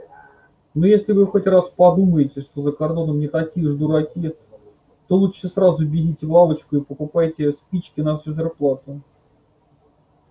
но если вы хоть раз подумаете что за кордоном не такие уж дураки то лучше сразу бегите в лавочку и покупайте спички на всю зарплату